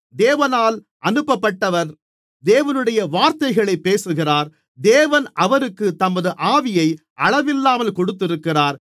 தேவனால் அனுப்பப்பட்டவர் தேவனுடைய வார்த்தைகளைப் பேசுகிறார் தேவன் அவருக்குத் தமது ஆவியை அளவில்லாமல் கொடுத்திருக்கிறார்